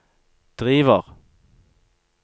driver